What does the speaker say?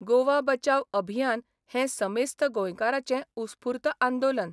गोवा बचाव अभियान हें समेस्त गोंयकारांचें उत्स्फूर्त आंदोलन.